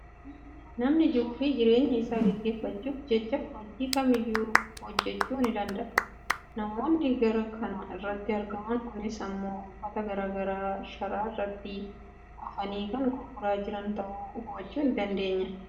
namni jiruufi jireenya isaa gagggeeffachuuf jecha hojii kamiyyuu hojjechuu ni danda'a. namoonni karaa kana irratti argaman kunis immoo uffata gara garaa sharaa irratti afanii kan gurguraa jiran ta'uu hubachuu ni dandeenya.